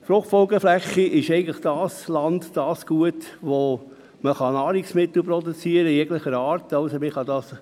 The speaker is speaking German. Fruchtfolgeflächen sind das Land, das Gut, auf dem man Nahrungsmittel jeglicher Art produzieren kann.